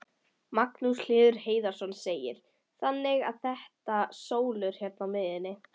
Magnús Hlynur Hreiðarsson: Þannig að þetta sólúr hérna í miðjunni?